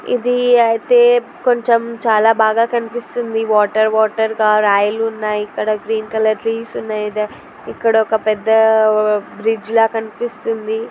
ఇది అయితే కొంచం చాలా బాగా కనిపిస్తుంది. వాటర్ వాటర్ గా రాయిలు ఉన్నాయి. ఇక్కడ గ్రీన్ కలర్ ట్రీస్ ఉన్నాయ్. ఇక్కడ ఒక పెద్ద బ్రిడ్జి లా కనిపిస్తుంది.